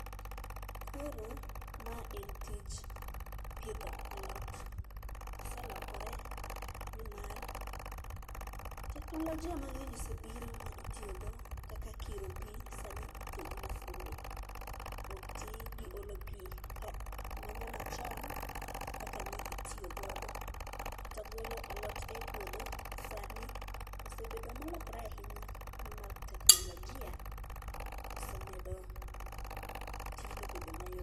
Koro ma en tij pidho alot. Oselokore nimar teknolojia mang'eny osebiro ma itiyogo kaka kiro pi, sani itiyo gi masinde, ok ti gi olo pi manyamachon kaka nitiyo godo. Kata golo alot e puodho, sani osebedo molokore ahinya nimar teknolojia osemedo tijno obedo mayot.